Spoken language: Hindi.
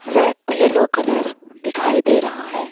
रै येलो कलर दिखाई दे रहा है।